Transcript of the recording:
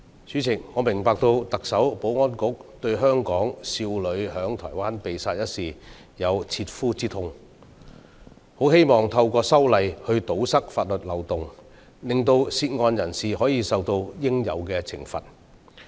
主席，我明白特首、保安局對香港少女在台灣被殺一事，有切膚之痛，很希望透過修例堵塞法律漏洞，令涉案人士可以受到應有的懲罰。